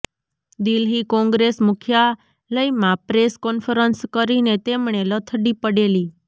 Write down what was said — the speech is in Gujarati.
દિલ્હી કોંગ્રેસ મુખ્યાલયમાં પ્રેસ કોન્ફરન્સ કરીને તેમણે લથડી પડેલી